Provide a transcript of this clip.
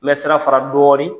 Mɛ sira fara dɔɔnin.